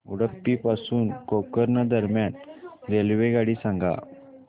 उडुपी पासून गोकर्ण दरम्यान रेल्वेगाडी सांगा